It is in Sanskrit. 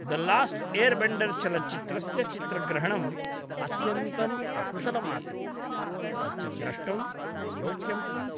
द लास्ट् एर्बेण्डर् चलच्चित्रस्य चित्रग्रहणम् अत्यन्तम् अकुशलम् आसीत्, तच्च द्रष्टुं न योग्यम् आसीत्।